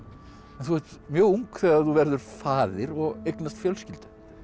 þú ert mjög ung þegar þú verður faðir og eignast fjölskyldu